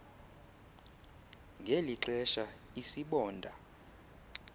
ngeli xesha isibonda